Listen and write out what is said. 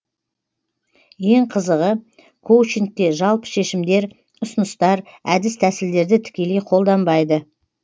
ең қызығы коучингте жалпы шешімдер ұсыныстар әдіс тәсілдерді тікелей қолданбайды